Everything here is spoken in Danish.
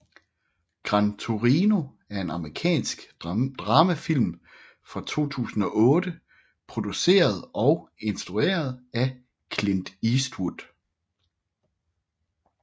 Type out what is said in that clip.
Gran Torino er en amerikansk dramafilm fra 2008 produceret og instrueret af Clint Eastwood